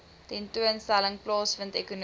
tentoonstelling plaasvind ekonomiese